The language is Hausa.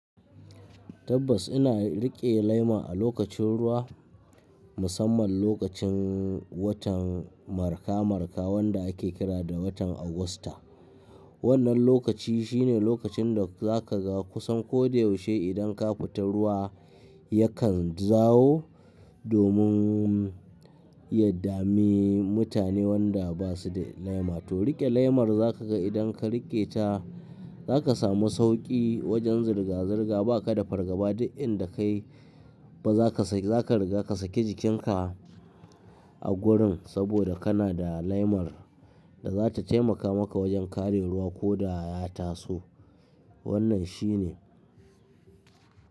Tabbas ina riƙe lema a lokacin ruwa, musamman lokacin watan marka-marka wanda ake kira da watan Agusta. Wannan lokaci shine lokacin da za ka ga kusan ko da yaushe idan ka fita ruwa, yakan zawo domin ya dame mutane wanda ba su da lema. To riƙe lemar za ka ga idan ka riƙe ta za ka samu sauƙi wajen zirga-zirga, ba ka da fargaba duk inda ka yi ba za ka saki, za ka riga ka saki jikinka a gurin saboda kana da lemar da za ta taimaka maka wajen kare ruwa ko da ya taso. Wannan shi ne.